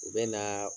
U bɛ naaa